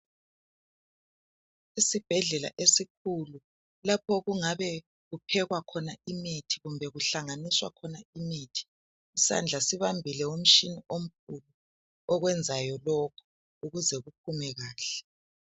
Isibhedlela esikhulu lapho okungabe kuphekwa khona imithi kumbe kuhlanganiswa khona imithi. Isandla sibambile imitshina omkhulu okwenzayo lokhu ukuze kuphume kahle.